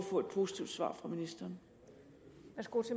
få et positivt svar fra ministeren